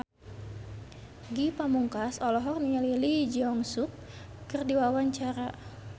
Ge Pamungkas olohok ningali Lee Jeong Suk keur diwawancara